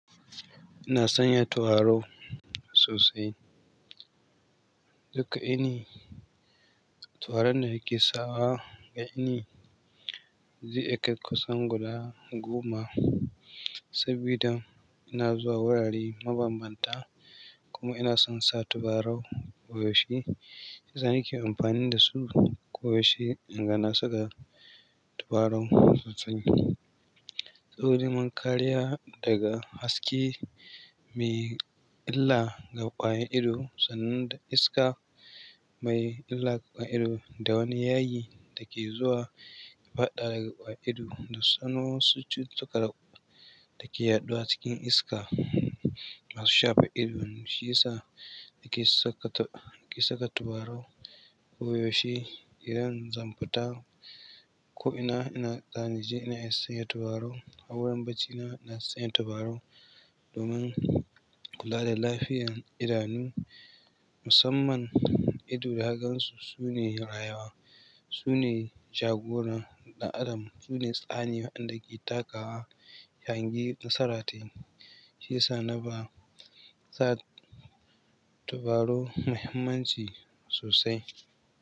Ina sanya turare sosai. Duka ini turaren da nake sawa ga ini zai iya kai kusan guda goma sabida ina zuwa wurare mabanbanta kuma ina son sa tubarau koyaushe. Da inke amfani dasu ko yaushe in ga na saka tubarau sosai saboda mun kariya daga haske mai illa ga ƙwayan ido sanan da iska mai illa ga ido da wani yayi da ke zuwa ya faɗa daga ƙwaya ido da sanno su cututtuka da ke yaɗuwa cikin iska masu shafe ido. Shiyasa nake saka, nake saka tubarau koyaushe idan zan fita ko ina, ina zani je ina iya sanya turaro. A wurin bacina ina sanya tubarau domin kula da lafiyar idanu. Musamman ido da kagansu su ne rayuwa, su ne jagoran ɗan adam, su ne tsani waɗanda ke takawa ya hangi nasaratai. Shiyasa na ba sa tubarau muhimmanci sosai.